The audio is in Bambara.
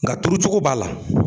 Nka turucogo b'a la